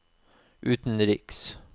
utenriks